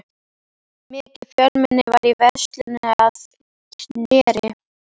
Mikið fjölmenni var í veislunni að Knerri.